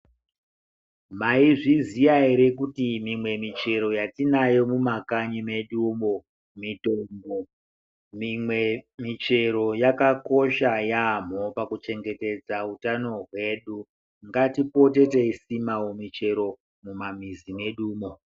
Maizviziya here kuti mimwe michero yatinayo mumakanyi medumo mitombo. Mimwe michero yakakosha yaamho pakuchengetedza utano hwedu. Ngatipotewo teisimawo michero mumamwizi mwedumwo.